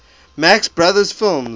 marx brothers films